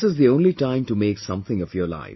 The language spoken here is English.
This is the only time to make something of your life